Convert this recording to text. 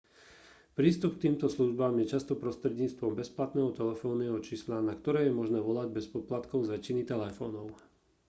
prístup k týmto službám je často prostredníctvom bezplatného telefónneho čísla na ktoré je možné volať bez poplatkov z väčšiny telefónov